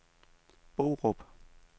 Borup